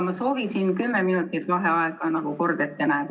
Ma soovisin kümme minutit vaheaega, nagu kord ette näeb.